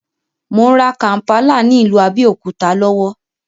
Mò ń rà kàmpálà ní ìlú Abẹ́òkúta lọ́wọ́